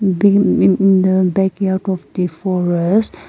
b-mm the backyard of the forest.